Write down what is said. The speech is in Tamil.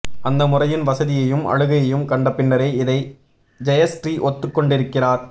அந்த முறையின் வசதியையும் அழகையும் கண்ட பின்னரே இதை ஜெயஸ்ரீ ஒத்துக்கொண்டிருக்கிறார்